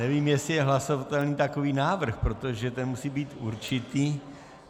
Nevím, jestli je hlasovatelný takový návrh, protože ten musí být určitý.